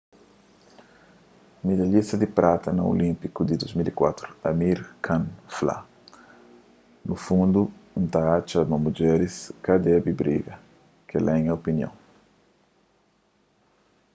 midalhista di prata na olínpiku di 2004 amir khan fla nu fundu n ta atxa ma mudjeris ka debe briga kel-la ke nha opinion